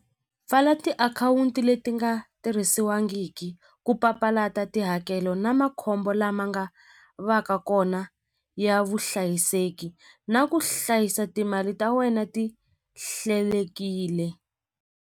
Pfala tiakhawunti leti nga tirhisiwangiki ku papalata tihakelo na makhombo lama nga va ka kona ya vuhlayiseki na ku hlayisa timali ta wena ti hlelekile.